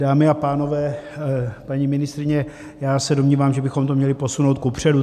Dámy a pánové, paní ministryně, já se domnívám, že bychom to měli posunout kupředu.